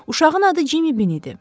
Uşağın adı Cimmi Bin idi.